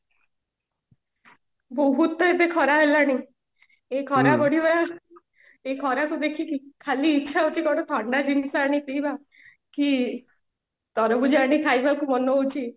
ବହୁତ ତ ଏବେ ଖରା ହେଲାଣି ଏଇ ଖରା ବଢିବା ର ଏଇ ଖରାକୁ ଦେଖିକି ଖାଲି ଇଚ୍ଛା ହଉଛି କୋଉଠୁ ଥଣ୍ଡା ଜିନିଷ ଆଣିକି ପିଇବାକୁ କି ତରଭୁଜ ଆଣିକି ଖାଇବାକୁ ମନ ହଉଛି